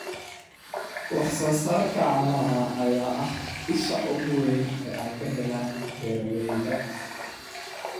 Wax-soo-saarka caanaha ayaa ah isha ugu weyn ee ay ka helaan beeralayda.